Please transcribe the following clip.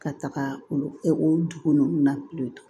Ka taga olu dugu ninnu na